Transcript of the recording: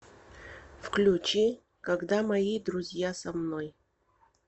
включи когда мои друзья со мной